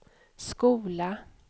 skola